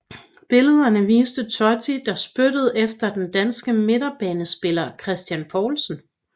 Billederne viste Totti der spyttede efter den danske midtbanespiller Christian Poulsen